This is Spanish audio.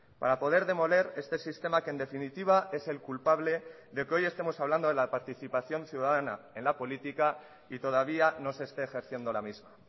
para poder demoler este sistema que en definitiva es el culpable de que hoy estemos hablando de la participación ciudadana en la política y todavía no se esté ejerciendo la misma